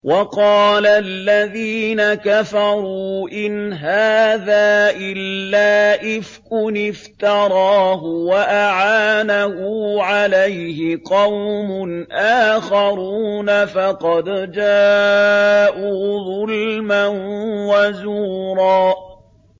وَقَالَ الَّذِينَ كَفَرُوا إِنْ هَٰذَا إِلَّا إِفْكٌ افْتَرَاهُ وَأَعَانَهُ عَلَيْهِ قَوْمٌ آخَرُونَ ۖ فَقَدْ جَاءُوا ظُلْمًا وَزُورًا